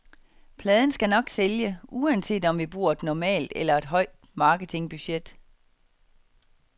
Pladen skal nok sælge, uanset om vi bruger et normalt eller et højt marketingbudget.